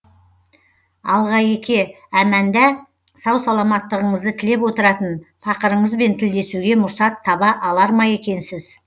алғеке әманда сау саламаттығыңызды тілеп отыратын пақырыңызбен тілдесуге мұрсат таба алар ма екенсіз